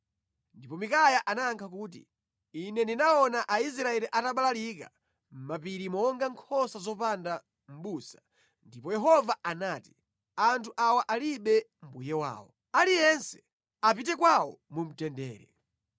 Ndipo Mikaya anayankha kuti, “Ine ndinaona Aisraeli atabalalika mʼmapiri monga nkhosa zopanda mʼbusa, ndipo Yehova anati, ‘Anthu awa alibe mbuye wawo. Aliyense apite kwawo mu mtendere!’ ”